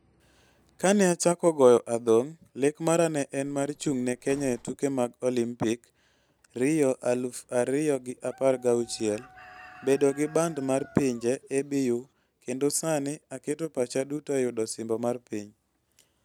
"Kane achako goyo adhong' lek mara ne en mar chung' ne Kenya e tuke mag Olimpik (Rio aluf ariyo gi apar gi auchiel), bedo gi band mar pinje (ABU) kendo sani aketo pacha duto e yudo osimbo mar Piny.